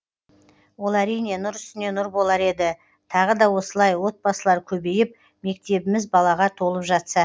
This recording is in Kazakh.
ол әрине нұр үстіне нұр болар еді тағы да осылай отбасылар көбейіп мектебіміз балаға толып жатса